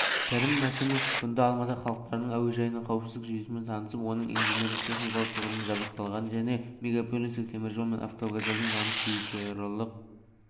кәрім мәсімов мұнда алматы халықаралық әуежайының қауіпсіздік жүйесімен танысып оның инженерлік-техникалық тұрғыдан жабдықталғанын және мегаполистің теміржол мен автовокзалдың антитеррорлық